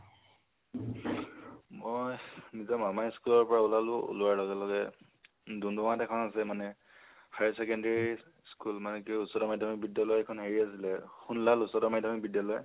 মই নিজৰ মামাৰ school ৰ পৰা উলালো, উলোৱাৰ লগে লগে, ডুমডুমা ত এখন আছে মানে higher secondary school মানে কি উচ্চতৰ মাধ্যমিক বিদ্যালয় এইখন হেৰি আছিলে সুনলাল উচ্চতৰ মাধ্যমিক বিদ্যালয়